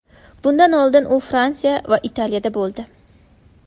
Bundan oldin u Fransiya va Italiyada bo‘ldi.